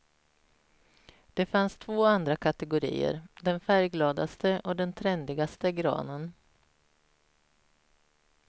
Det fanns två andra kategorier, den färggladaste och den trendigaste granen.